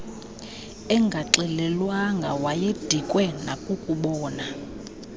engaxelelwanga wayedikwe nakukubona